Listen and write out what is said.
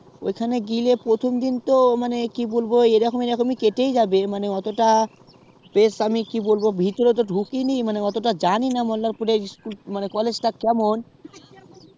ওখানে গেলে প্রথম দিন ই তো মানে কি বলবো এইরকম এইরকমই কেটে যাবে মানে এতটা বেশ আমি কি বলবো ভিতরে তো আমি ঢুকিনি আমি এতটা জানিনা মল্লারপুর এ college তা কেমন